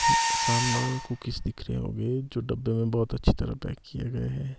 सामने कुकीस दिख रहे होंगे जो डब्बे में बहुत अच्छी तरह पैक किए गए हैं।